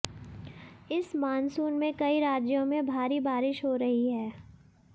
इस मॉनसून में कई राज्यों में भारी बारिश हो रही है